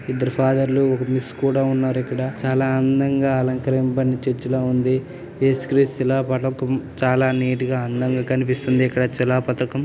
ఇద్దరు ఫాదర్ లు ఒక మిస్ కూడా ఉన్నారు. ఇక్కడ చాలా అందంగా అలంకరింపబడిన చర్చి ల ఉంది. ఏసు క్రీస్తు శిలా పథకం. చాలా నీట్ గ అందంగా కనిపిస్తుంది. ఇక్కడ శిలా పథకం.